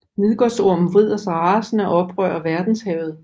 Midgårdsormen vrider sig rasende og oprører verdenshavet